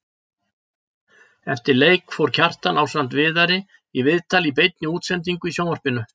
Eftir leik fór Kjartan ásamt Viðari í viðtal í beinni útsendingu í sjónvarpinu.